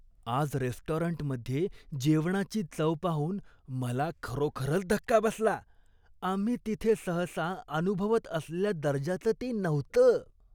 आज रेस्टॉरंटमध्ये जेवणाची चव पाहून मला खरोखरच धक्का बसला. आम्ही तिथे सहसा अनुभवत असलेल्या दर्जाचं ते नव्हतं.